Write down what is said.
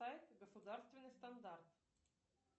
сайт государственный стандарт